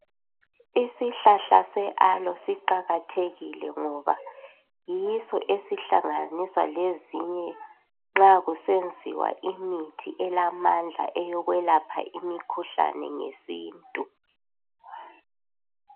Isihlahla se aloe siqakathekile ngoba yiso eaihlanganiswa lezinye nxa kusenziwa imithi elamandla eyokwelapha imikhuhlane ngesintu